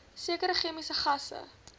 sekere chemiese gasse